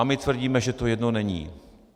A my tvrdíme, že to jedno není.